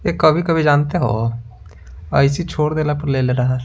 ये कभी-कभी जानते हो ऐसी छोड़ देला पर ले ले रहा है।